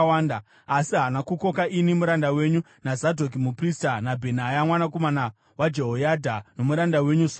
Asi haana kukoka ini muranda wenyu naZadhoki muprista, naBhenaya mwanakomana waJehoyadha, nomuranda wenyu Soromoni.